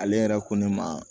Ale yɛrɛ ko ne ma